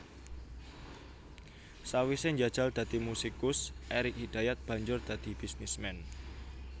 Sawisé njajal dadi musikus Erik Hidayat banjur dadi bisnisman